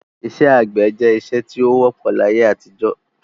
Isẹ́ àgbẹ̀ je isẹ́ ti o wọ́pọ̀ láyé-àtijọ́